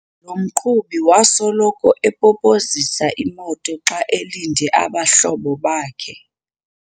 Lo mqhubi wasoloko epopozisa imoto xa elinde abahlobo bakhe.